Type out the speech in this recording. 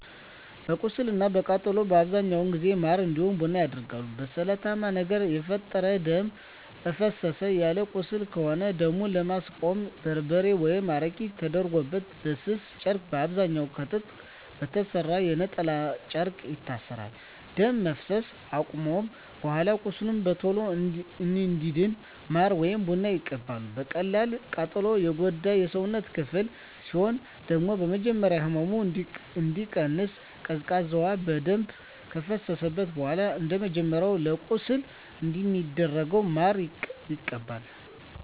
ለቁስል እና ለቃጠሎ በአብዛኛው ጊዜ ማር እንዲሁም ቡና ይደረጋል። በስለታማ ነገር የተፈጠረ ደም እፈሰሰ ያለው ቁስል ከሆነ ደሙን ለማስቆም በርበሬ ወይም አረቄ ተደርጎበት በስስ ጨርቅ በአብዛኛዉ ከጥጥ በተሰራ የነጠላ ጨርቅ ይታሰራል። ደም መፍሰስ አከቆመም በኃላ ቁስሉ በቶሎ እንዲድን ማር ወይም ቡና ይቀባል። በቀላል ቃጠሎ የጎዳ የሰውነት ክፍል ሲኖር ደግሞ በመጀመሪያ ህመሙ እንዲቀንስ ቀዝቃዛ ውሃ በደንብ ከፈሰሰበት በኃላ እንደመጀመሪያው ለቁስል እንደሚደረገው ማር ይቀባል።